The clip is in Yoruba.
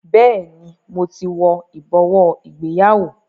Bẹẹni, mo ti wo ibowo ìgbéyàwó